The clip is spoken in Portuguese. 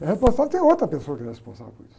É responsável, tem outra pessoa que é responsável por isso.